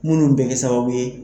Munnu bɛ kɛ sababu ye